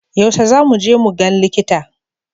Yaushe za mu je mu gan likita?